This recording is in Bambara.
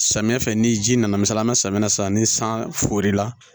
Samiya fɛ ni ji nana misaliya an be samiya san ni san fere la